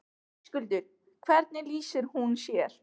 Höskuldur: Hvernig lýsir hún sér?